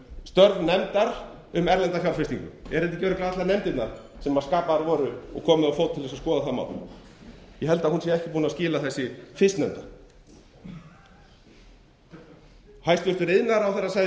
störf nefndar um erlenda fjárfestingu eru þetta ekki örugglega allar nefndirnar sem skipaðar voru og komið á fót til að skoða það mál ég held að hún sé ekki búin að skila þessi fyrstnefnda hæstvirtur iðnaðarráðherra sagði í